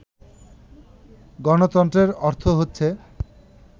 গণতন্ত্রের অর্থ হচ্ছে